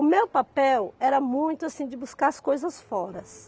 O meu papel era muito assim de buscar as coisas fora.